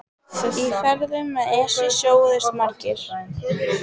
Í ferðum með Esju sjóuðust margir.